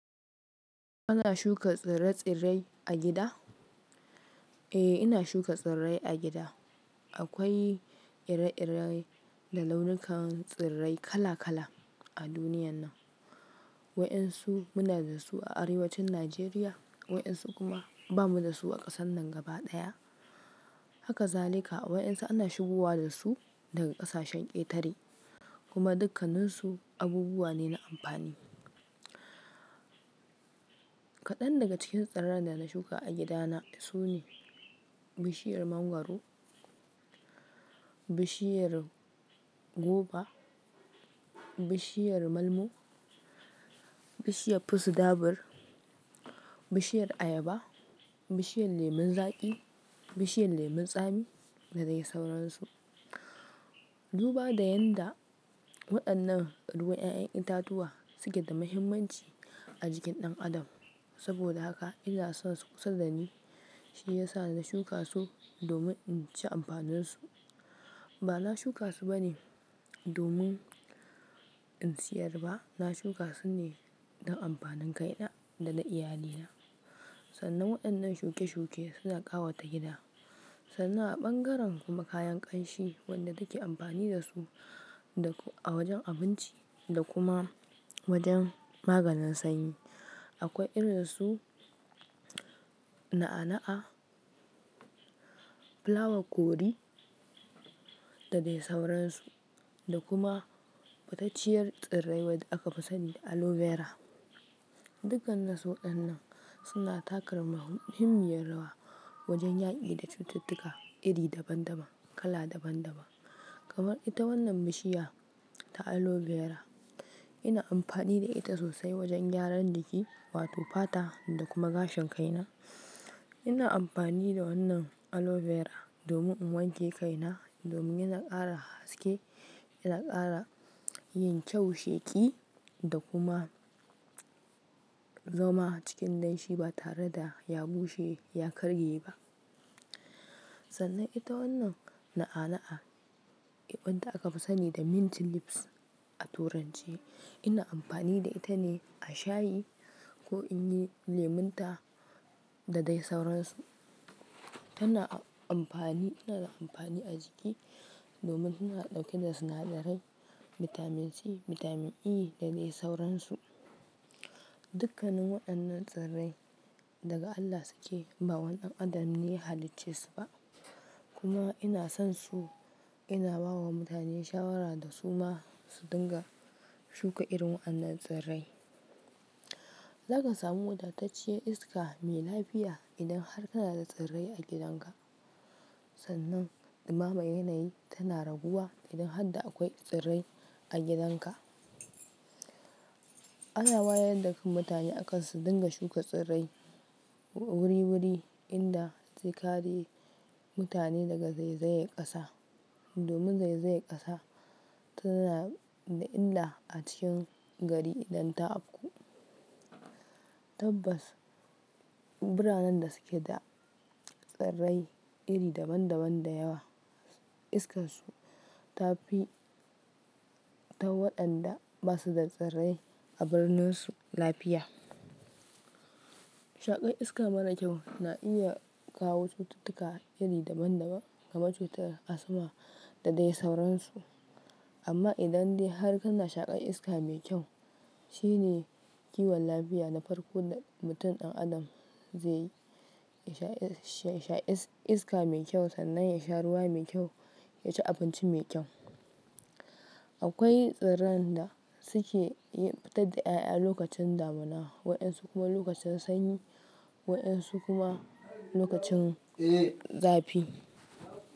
Ana shuka tsire-tsire a gida? Eh, ina shuka tsirrai a gida. Akwai ire-ire da launukan tsirrai kala-kala a duniyan nan. Waɗansu muna da su a arewacin Najeriya, waɗansu kuma ba mu da su a ƙasan nan gaba ɗaya. Hakazalika, waɗansu ana shigowa da su daga ƙasashen ƙetare, kuma dukkanninsu abubuwa ne na amfani. Kaɗan daga cikin tsirran da na shuka a gidana su ne bishiyar mangwaro, bishiyar goba, bishiyar malmo, bishiyar fusi dabur, bishiyar ayaba, bishiyar lemon zaƙi, bishiyar lemon tsami da dai sauransu. Duba da yadda waɗannan ruwan 'ya'yan itatuwa suke da muhimmanci a jikin ɗan adam. Saboda haka ina son su kullum, shine yasa na shuka su domin in ci amfanin su. Ba na shuka su bane domin in siyar ba, na shuka su ne don amfanin kaina da na iyalina. Sannan waɗannan shuke-shuke suna ƙawata gida. Sannan a ɓangaren kuma kayan ƙanshi wanda take amfani da su a wajen abinci da kuma wajen maganin sanyi. Akwai irin su na'a-na'a, flower curry da dai sauransu, da kuma fatacciyar tsirrai wadda aka fi sani da aloe vera. Dukkan na su waɗannan suna takar muhimmiyar rawa wajen yaƙi da cututtuka iri daban-daban, kala daban-daban. Kamar ita wannan bishiya ta aloe vera, ina amfani da ita sosai wajen gyaran jiki wato fata da kuma gashin kaina. Ina amfani da wannan aloe vera domin in wanke kaina, domin yana ƙara haske, yana ƙara yin kyau sheƙi da kuma zama cikin laishi ba tare da ya bushe, ya karye ba. Sannan ita wannan na'a-na'a, wadda aka fi sani da mint lips a turanci. Ina amfani da ita ne a shayi ko in yi lemon ta da dai sauransu. Tana amfani, ina da amfani a jiki domin tana ɗauke da sinadarai, bitamin C, bitamin E da dai sauransu. Dukkanin waɗannan tsirrai daga Allah suke, ba wani ɗan adam ne ya halicce su ba. Kuma ina son su, ina ba wa mutane shawara da su ma su dinga shuka irin waannan tsirrai. Zaka samu wadatacciyar iska mai lafiya idan har kana da tsirrai a gidanka. Sannan, ɗimaman yanayi tana raguwa idan har da akwai tsirrai a gidanka. Ana wayar da kan mutane akan su dinga shuka tsirrai wuri-wuri inda zekare mutane daga zaizayar ƙasa. Domin zaizayar ƙasa tana da illa a cikin gari idan ta afku. Tabbas, biranen da suke da tsirrai iri daban-daban da yawa, iskansu ta fi ta waɗanda ba su da tsirrai a birnin su lafiya. Shaƙar iska mara kyau na iya kawo cututtuka iri daban-daban kamar cutar asma da dai sauransu. Amma idan dai har kana shaƙar iska mai kyau, shine kiwon lafiya na farko da mutum ɗan adam zai yi, ya sha iska mai kyau sannan ya sha ruwa mai kyau, ya ci abinci mai kyau. Akwai tsirran da suke fitar da 'ya'ya lokacin damuna, waɗansu kuma lokacin sanyi, waɗansu kuma lokacin zafi.